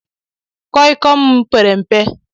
koi koi m pere mpe